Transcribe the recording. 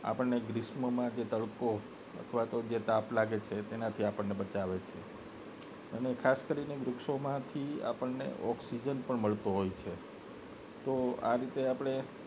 આપને ગ્રીષ્મમાં જે તડકો અથવા તો જે તાપ લાગે તેના થી આપને બચાવે છે અને ખાસ કરીને વૃક્ષો માં થી આપને ઑક્સિજન પણ મળતો હોય છે તો આ રીતે આપને